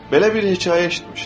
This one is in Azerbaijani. Belə bir hekayə eşitmişdim.